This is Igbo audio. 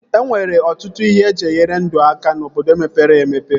E nwere ọtụtụ ihe eji enyere ndụ aka n'obodo mepere emepe